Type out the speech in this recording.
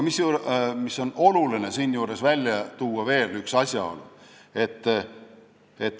Oluline on siinjuures välja tuua veel üks asjaolu.